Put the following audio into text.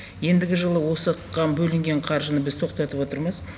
ендігі жылы осыған бөлінген қаржыны біз тоқтатып отырмыз